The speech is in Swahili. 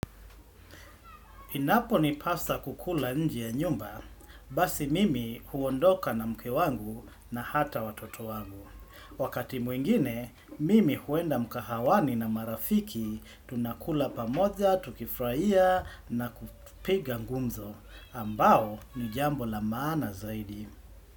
Inapo ni pasa kukula nje ya nyumba, basi mimi huondoka na mke wangu na hata watoto wangu. Wakati mwingine, mimi huenda mkahawani na marafiki tunakula pamoja, tukifraia na kupiga ngumzo. Ambao ni jambo la maana zaidi.